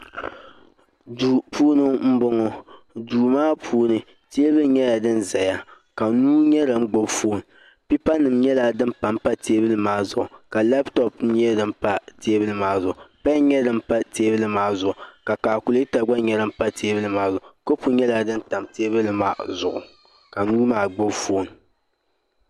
duu puuni m-bɔŋɔ duu maa puuni teebuli nyɛla din zaya ka nuu nyɛ din gbubi fooni peepanima nyɛla din pa m-pa teebuli maa zuɣu ka labitɔpu nyɛ din pa teebuli maa zuɣu pɛni nyɛ din pa teebuli maa zuɣu ka kaakuleeta nyɛ din pa teebuli maa zuɣu kɔpu nyɛla din tam teebuli maa zuɣu ka nuu maa gbubi fooni